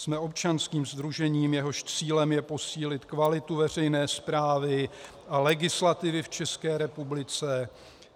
Jsme občanským sdružením, jehož cílem je posílit kvalitu veřejné správy a legislativy v České republice.